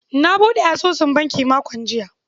Na buɗe asusun banki makon jiya.